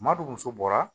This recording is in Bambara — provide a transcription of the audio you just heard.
Maadɔw muso bɔra